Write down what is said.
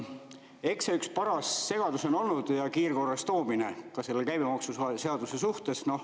Eks see üks paras segadus on olnud ja kiirkorras ka käibemaksuseaduse suhtes.